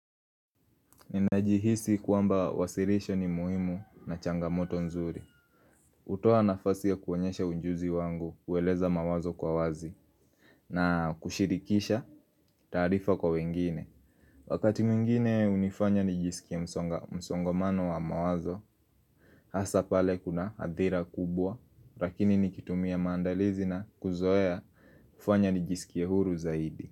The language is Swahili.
Ninaji hisi kwamba wasilisho ni muhimu na changamoto nzuri hutoa nafasi ya kuonyesha ujuzi wangu hueleza mawazo kwa wazi na kushirikisha taarifa kwa wengine Wakati mwingine hunifanya nijiskie msonga msongomano wa mawazo Hasa pale kuna hadhira kubwa rakini nikitumia maandalizi na kuzoea ufanya nijiskie huru zaidi.